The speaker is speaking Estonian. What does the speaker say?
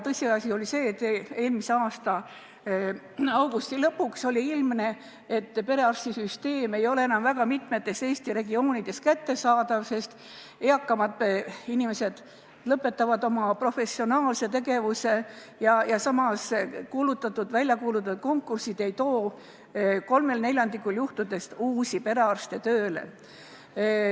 Tõsiasi on see, et eelmise aasta augusti lõpuks oli ilmne, et perearstiteenus ei ole väga mitmes Eesti regioonis enam kättesaadav, sest eakamad inimesed lõpetavad oma professionaalse tegevuse, samas väljakuulutatud konkursid ei too kolmel neljandikul juhtudest uusi perearste tööle.